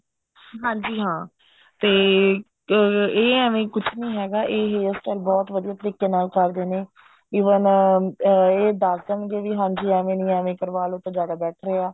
ਹਾਂਜੀ ਹਾਂ ਤੇ ਇਹ ਐਵੇਂ ਕੁੱਝ ਨਹੀਂ ਹੈਗਾ ਇਹ hair style ਬਹੁਤ ਵਧੀਆ ਤਰੀਕੇ ਨਾਲ ਕਰਦੇ ਨੇ even ਇਹ ਦੱਸ ਦੇਣਗੇ ਵੀ ਹਾਂਜੀ ਐਵੇਂ ਨੀ ਐਵੇਂ ਕਰਵਾਲੋ ਤਾਂ ਜਿਆਦਾ better ਐ